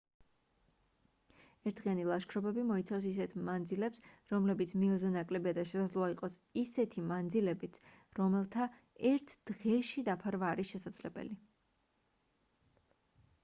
ერთდღიანი ლაშქრობები მოიცავს ისეთ მანძილებს რომლებიც მილზე ნაკლებია და შესაძლოა იყოს ისეთი მანძილებიც რომელთა ერთ დღეში დაფარვა არის შესაძლებელი